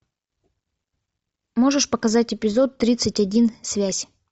можешь показать эпизод тридцать один связь